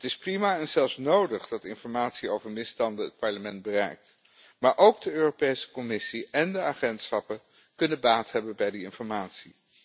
Het is prima en zelfs nodig dat informatie over misstanden het Parlement bereikt, maar ook de Europese Commissie en de agentschappen kunnen baat hebben bij die informatie.